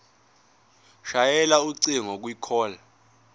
shayela ucingo kwicall